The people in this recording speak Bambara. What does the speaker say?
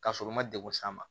Ka sɔrɔ u ma degun s'a ma